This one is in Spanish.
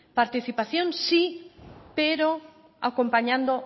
participación sí pero acompañando